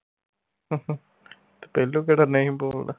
ਤੇ ਪਹਿਲੋਂ ਕਿਹੜਾ ਨਹੀਂ ਬੋਲਦਾ